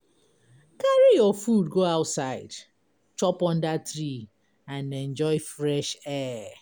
Carry your food go outside, chop under tree, and enjoy fresh air.